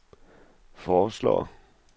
foreslår